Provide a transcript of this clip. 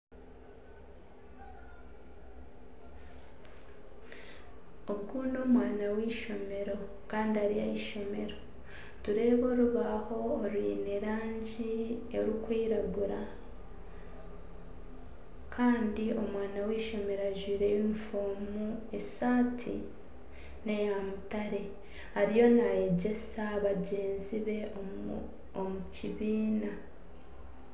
Ogu n'omwana w'eishomero kandi ari ah’eishomero nitureeba orubaho orwine erangi erikwiragura kandi omwana w'eishomero ajwaire yunifoomu esaati neya mutare ariyo nayegyesa bagyenzi be omu kibiina.